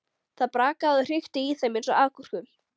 Það brakaði og hrikti í þeim eins og agúrkum.